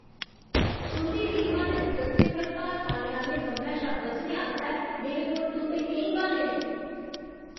तुं'दी टीमा दे सदस्यें पर भार पाने आह्‌ले कम्मै शा बचने आस्तै मेरे कोल तुं'दे केईं ब्हान्ने न।